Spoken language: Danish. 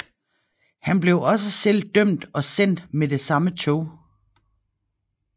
Han blev også selv dømt og sendt med det samme tog